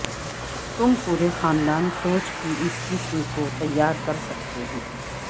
تم پورے خاندان سوچ کی اس قسم کو تیار کر سکتے ہیں